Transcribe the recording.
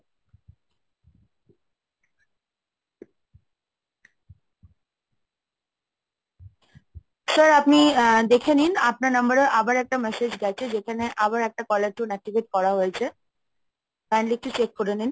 sir আপনি আ দেখে নিন আপনার number এ আবার একটা message গেছে.,যেখানে আবার একটা color tune activate করা হয়েছে kindly একটু check করে নিন।